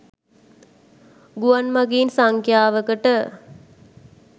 ගුවන් මගීන් සංඛ්‍යාවකට